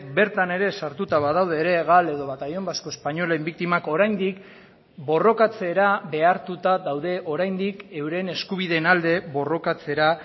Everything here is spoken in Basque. bertan ere sartuta badaude ere gal edo batallón vasco españolen biktimak oraindik borrokatzera behartuta daude oraindik euren eskubideen alde borrokatzera